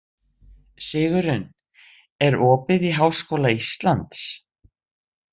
Sigurunn, er opið í Háskóla Íslands?